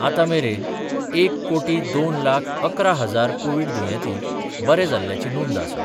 आतां मेरेन एक कोटी दोन लाख अकरा हजार कोविड दुयेंती बरे जाल्ल्याची नोंद आसा.